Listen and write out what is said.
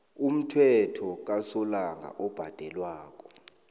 umthelo kasolanga obhadelwako